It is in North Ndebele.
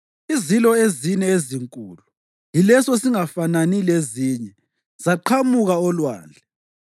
Izilo ezine ezinkulu, yileso singafanani lezinye, zaqhamuka olwandle.